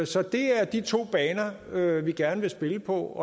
så det er de to baner vi vi gerne vil spille på